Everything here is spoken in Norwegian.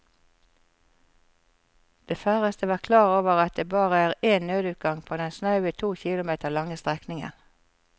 De færreste var klar over at det bare er én nødutgang på den snaue to kilometer lange strekningen.